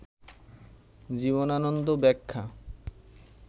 জীবনানন্দ ব্যাখ্যা